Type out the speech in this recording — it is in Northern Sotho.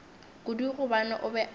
kudu gobane o be a